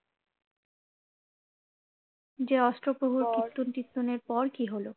যে অষ্টপ্রহর কীর্তন টির্তনের পর কিহলো?